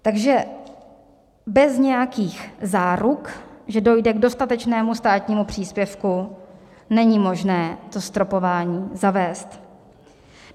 Takže bez nějakých záruk, že dojde k dostatečnému státnímu příspěvku, není možné to stropování zavést.